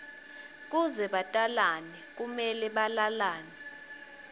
kuze batalane kumele balalane